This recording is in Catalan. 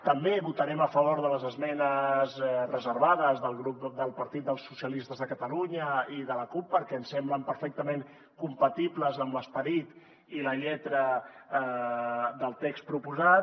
també votarem a favor de les esmenes reservades del partit socialistes de catalunya i de la cup perquè ens semblen perfectament compatibles amb l’esperit i la lletra del text proposat